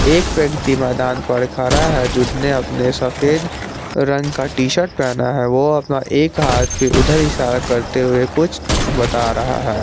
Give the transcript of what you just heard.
एक व्यक्ति मैदान पर खड़ा है जिसने अपने सफेद रंग का टी शर्ट पहना है वो अपना एक हाथ पे उधर इशारा करते हुए कुछ बता रहा है।